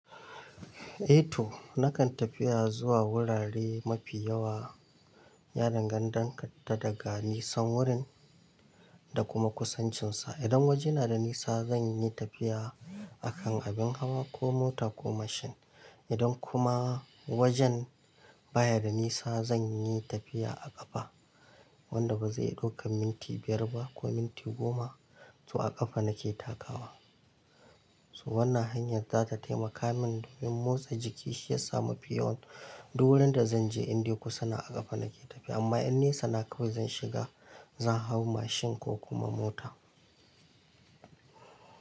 Eh to nakan tafiya zuwa wurare mafi yawa, ya danganta daga nisan wurin da kuma kusancinsa. Idan waje na da nisa zan yi tafiya akan abin hawa ko mota ko mashin. Idan kuma wajen baya da nisa zan yi tafiya a ƙafa, wanda ba zai ɗauka minti biyar ba ko minti goma. To a ƙafa na ke takawa. Wannan hanyar za ta taimaka min domin motsa jiki shi ya sa mafi yawan duk wurin da zan je in dai kusa na a ƙafa na ke tafiya. Amma in nesa na kawai zan shiga, zan hau mashin ko kuma mota.